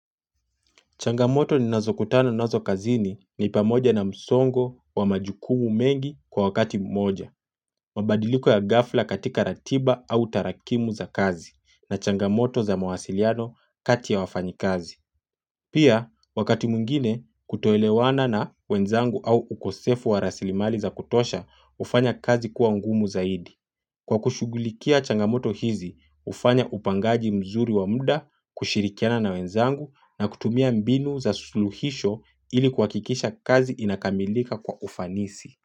Changamoto ninazo kutana nazo kazini ni pamoja na msongo wa majukumu mengi kwa wakati mmoja. Mabadiliko ya ghafla katika ratiba au tarakimu za kazi na changamoto za mawasiliano kati ya wafanyi kazi. Pia wakati mwingine kutoelewana na wenzangu au ukosefu wa rasilimali za kutosha hufanya kazi kuwa ungumu zaidi. Kwa kushughulikia changamoto hizi, hufanya upangaji mzuri wa muda, kushirikiana na wenzangu na kutumia mbinu za suluhisho ili kuhakikisha kazi inakamilika kwa ufanisi.